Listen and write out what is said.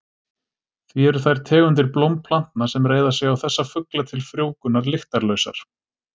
Því eru þær tegundir blómplantna sem reiða sig á þessa fugla til frjóvgunar lyktarlausar.